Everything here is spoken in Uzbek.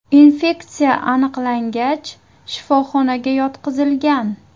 Infeksiya aniqlangach, shifoxonaga yotqizilgan.